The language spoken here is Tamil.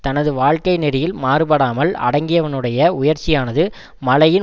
தனது வாழ்க்கை நெறியில் மாறுபடாமல் அடங்கியவனுடைய உயர்ச்சியானது மலையின்